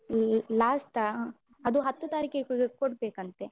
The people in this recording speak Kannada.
ಲಾ~ last ಆ ಅದು ಹತ್ತು ತಾರೀಖಿಗೆ ಕೊ~ ಕೊಡ್ಬೇಕಂತೆ.